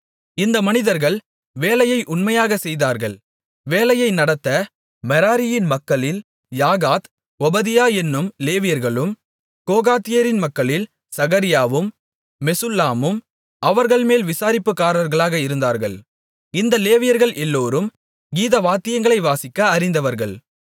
இந்த மனிதர்கள் வேலையை உண்மையாகச் செய்தார்கள் வேலையை நடத்த மெராரியின் மக்களில் யாகாத் ஒபதியா என்னும் லேவியர்களும் கோகாத்தியரின் மக்களில் சகரியாவும் மெசுல்லாமும் அவர்கள்மேல் விசாரிப்புக்காரர்களாக இருந்தார்கள் இந்த லேவியர்கள் எல்லோரும் கீதவாத்தியங்களை வாசிக்க அறிந்தவர்கள்